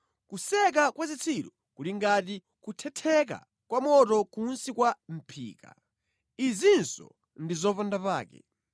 Kuseka kwa zitsiru kuli ngati kuthetheka kwa moto kunsi kwa mʼphika, izinso ndi zopandapake.